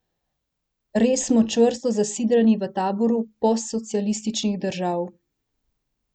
Res smo čvrsto zasidrani v taboru postsocialističnih držav!